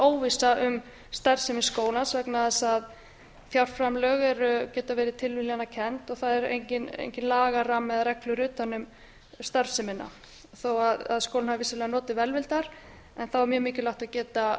óvissa vegna þess að fjárframlög geta verið tilviljanakennd og það er enginn lagarammi eða reglur utan um starfsemina þó að skólinn hafi vissulega notið velvildar er mjög mikilvægt að geta